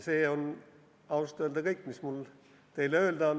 See on ausalt öelda kõik, mis mul teile öelda on.